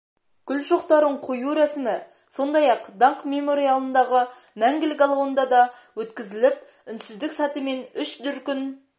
гүл шоқтарын қою рәсімі сондай-ақ даңқ мемориалындағы мәңгілік алауында да өткізіліп үнсіздік сәті мен үш дүркін